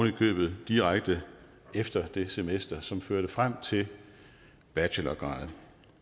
i købet direkte efter det semester som førte frem til bachelorgraden